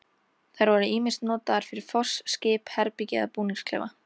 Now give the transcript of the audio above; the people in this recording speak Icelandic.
Þær voru ýmist notaðar fyrir foss, skip, herbergi eða búningsklefa.